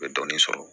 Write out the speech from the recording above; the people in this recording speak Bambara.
N bɛ dɔɔnin sɔrɔ